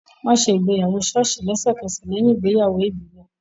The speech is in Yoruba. Wọ́n á ṣe ìgbéyàwó ṣọ́ọ̀ṣì lẹ́sẹ̀kẹsẹ̀ lẹ́yìn ìgbéyàwó ìbílẹ̀